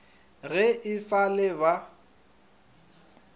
ge e sa le ba